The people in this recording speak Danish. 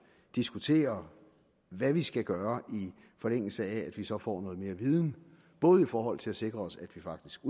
diskuterer hvad vi skal gøre i forlængelse af at vi så får noget mere viden både i forhold til at sikre os at vi faktisk